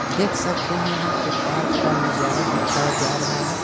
-- देख सकते है यहाँ पे पार्क का नजारा दिखाया जा रहा है।